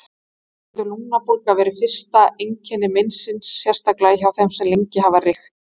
Þannig getur lungnabólga verið fyrsta einkenni meinsins, sérstaklega hjá þeim sem lengi hafa reykt.